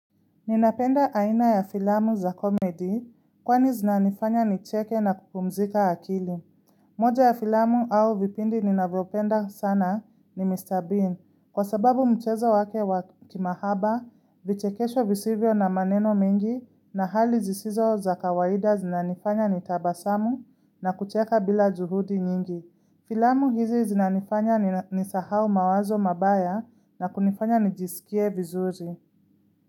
Ninapenda aina ya filamu za komedi kwani zinanifanya nicheke na kupumzika akili. Moja ya filamu au vipindi ninavopenda sana ni Mr. Bean kwa sababu mchezo wake wakimahaba, vichekesho visivyo na maneno mengi na hali zisizo za kawaida zinanifanya nitabasamu na kucheka bila juhudi nyingi. Filamu hizi zinanifanya ni sahau mawazo mabaya na kunifanya nijisikie vizuri.